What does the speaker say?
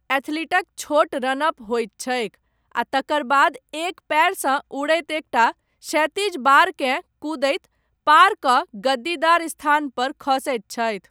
एथलीटक छोट run up होइत छैक, आ तकर बाद एक पयरसँ उड़ैत एकटा क्षैतिज बारकेँ कूदैत, पारकऽ, गद्दीदार स्थानपर खसैत छथि।